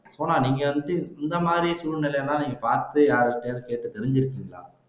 சோனா நீங்க வந்து இந்த மாதிரி சூழ்நிலை எல்லாம் பார்த்து யார் கிட்டயாவது கேட்டு தெரிஞ்சிருக்கீங்களா